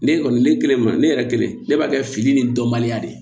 Ne kɔni ne kɛlen ma ne yɛrɛ kelen ne b'a kɛ fili ni dɔnbaliya de ye